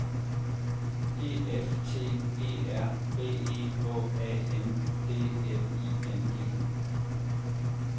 E F T E R B E H A N D L I N G